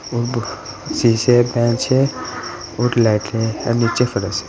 शीशे के बेंच है और लाइटें हैं नीचे फर्श है।